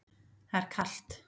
Það er kalt.